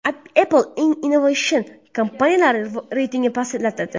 Apple eng innovatsion kompaniyalar reytingida pastladi.